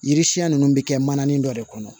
Yiri siɲɛn ninnu bɛ kɛ manani dɔ de kɔnɔ